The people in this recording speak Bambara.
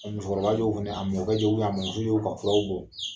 Musokɔrɔba jokilen, a mɔ kɛ jokilen, a mɔn muso jokilen, a t ye jumɛn ye ?